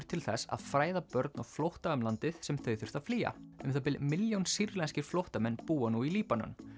til þess að fræða börn á flótta um landið sem þau þurftu að flýja um það bil milljón sýrlenskir flóttamenn búa nú í Líbanon